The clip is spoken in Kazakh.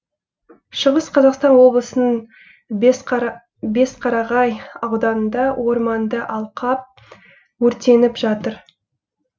шығыс қазақстан облысының бесқарағай ауданында орманды алқап өртеніп жатыр